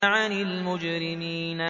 عَنِ الْمُجْرِمِينَ